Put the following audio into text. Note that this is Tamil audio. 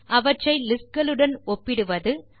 அவற்றை லிஸ்ட் களுடன் ஒப்பிடுவது